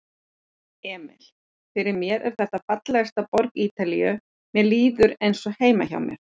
Emil: Fyrir mér er þetta fallegasta borg Ítalíu, mér líður eins og heima hjá mér.